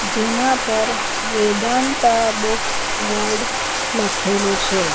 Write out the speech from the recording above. જેના પર Vedanta books world લખેલું છે.